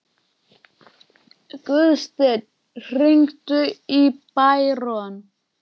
Guðstein, hringdu í Bæron.